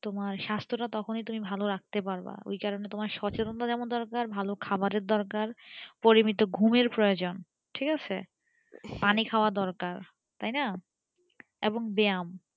তোমার স্বাস্থ তা তখনি তুমি ভালো রাখতে পারবে ওই কারণে সচেতন টা যেমন দরকার ভালো খাবারের দরকার পরিমিত ঘুমের প্রয়োজন ঠিক আছে পানি খাওয়া দরকার তাই না এবং ব্যাম